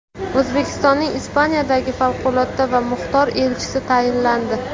O‘zbekistonning Ispaniyadagi favqulodda va muxtor elchisi tayinlandi.